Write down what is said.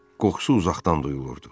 Qoxusu uzaqdan duyulurdu.